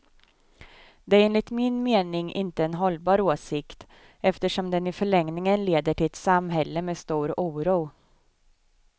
Det är enligt min mening inte en hållbar åsikt, eftersom den i förlängningen leder till ett samhälle med stor oro.